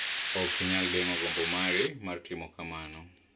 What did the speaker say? Ok inyal geng’o gombo mari mar timo kamano.